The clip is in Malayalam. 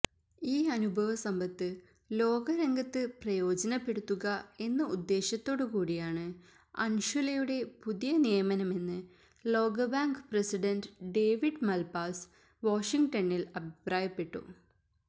ഈ അനുഭവസമ്പത്ത് ലോകരംഗത്ത് പ്രയോജനപ്പെടുത്തുക എന്ന ഉദ്ദേശ്യത്തോടുകൂടിയാണ് അൻഷുലയുടെ പുതിയ നിയമനമെന്ന് ലോകബാങ്ക് പ്രസിഡന്റ് ഡേവിഡ് മല്പാസ് വാഷിങ്ടണില് അഭിപ്രായപ്പെട്ടു